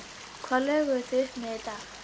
Hvað lögðuð þið upp með í dag?